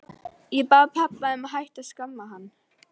Ég bað pabba að hætta að skamma hann.